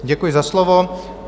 Děkuji za slovo.